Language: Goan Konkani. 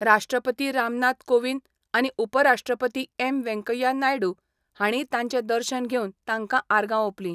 राष्ट्रपती रामनाथ कोविंद आनी उपराष्ट्रपती एम वेंकय्या नायडू हांणीय तांचें दर्शन घेवन तांकां आर्गां ओपली.